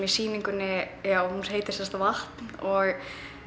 í sýningunni hún heitir sem sagt vatn og